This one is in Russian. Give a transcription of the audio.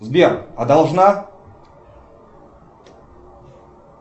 сбер а должна